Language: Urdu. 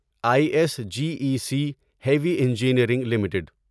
I S G E C heavy engineering limited